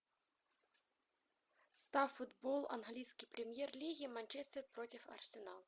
ставь футбол английской премьер лиги манчестер против арсенал